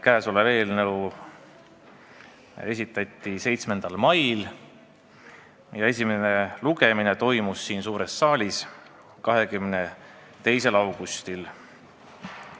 Käesolev eelnõu esitati 7. mail ja esimene lugemine toimus siin suures saalis 22. augustil.